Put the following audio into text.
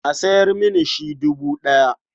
A sayar mini shi dubu ɗaya.